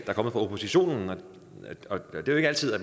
er kommet fra oppositionen og det er ikke altid at